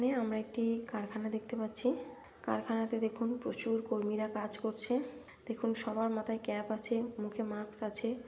এখানে আমরা একটি কারখানা দেখতে পাচ্ছি কারখানা তে দেখুন প্রচুর কর্মিরা কাজ করছে দেখুন সবার মাথায় ক্যাপ আছে মুখে মাস্ক আছে।